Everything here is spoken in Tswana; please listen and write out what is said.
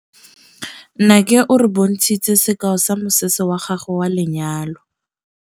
Nnake o re bontshitse sekaô sa mosese wa gagwe wa lenyalo.